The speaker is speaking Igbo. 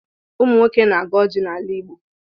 Ụmụ nwoke na-agọ ọjị n'ala Igbo.